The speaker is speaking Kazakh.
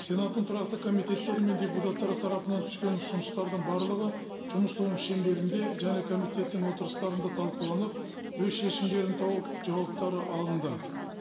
сенаттың тұрақты комитеттері мен депутаттары тарапынан түскен ұсыныстардың барлығы жұмыс тобының шеңберінде және комитеттің отырыстарында талқыланып өз шешімдерін тауып жауаптары алынды